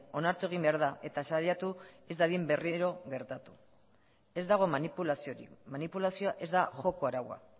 onartu egin behar da eta saiatu ez dadin berriro gertatu ez dago manipulaziorik manipulazioa ez da joko araua